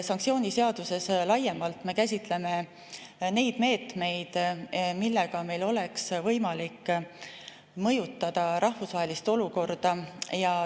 Sanktsiooniseaduses laiemalt me käsitleme neid meetmeid, millega meil oleks võimalik mõjutada rahvusvahelist olukorda.